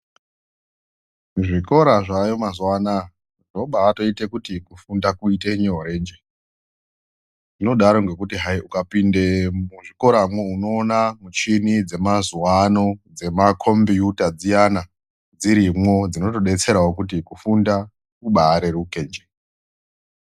Zvikora zvayo mazuwa anaya zvabatoite kuti kufunda kuite nyorenje zvinodaro ngekuti hai ukapinde muzvikoramwo unoona muchini dzemazuwa ano dzemakombiuta dziyana dzirimwo dzinotodetsrawo kuti kufunda kubareruke nje.